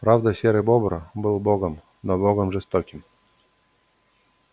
правда серый бобр был богом но богом жестоким